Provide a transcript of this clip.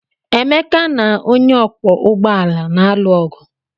Emeka na onye ọkwọ ụgbọala na-alụ ọgụ.